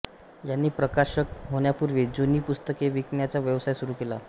यांनी प्रकाशक होण्यापूर्वी जुनी पुस्तके विकण्याचा व्यवसाय सुरू केला